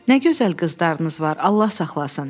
Nə gözəl qızlarınız var, Allah saxlasın.